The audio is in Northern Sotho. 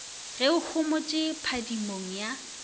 ge o homotše phadimong ya